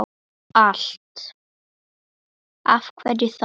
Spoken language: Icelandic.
Af hverju þar?